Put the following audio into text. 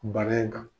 Bana in kan